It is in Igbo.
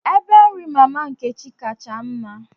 Ebe nri mama Nkechi kacha mma.